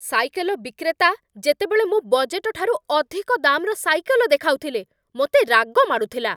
Cycle ବିକ୍ରେତା ଯେତେବେଳେ ମୋ ବଜେଟ୍‌ଟାରୁ ଅଧିକ ଦାମ୍‌ର ସାଇକେଲ ଦେଖାଉଥିଲେ, ମୋତେ ରାଗ ମାଡ଼ୁଥିଲା।